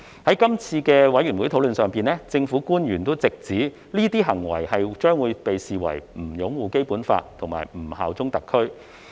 在法案委員會的討論中，政府官員直指這些行為將被視為不擁護《基本法》和不效忠特區。